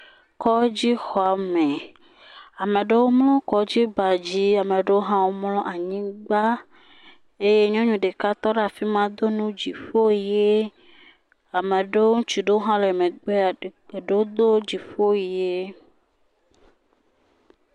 Kɔdzi xɔme. Ame aɖewo mlɔ Kɔdzi na dzi, ame aɖewo hã mlɔ anyigba eye nyɔnu ɖeka tɔ ɖe afima do nu dziƒo ɣi. Ame aɖewo. Ŋutsu ɖewo hã le megbe. Eɖewo do dziƒo ɣi.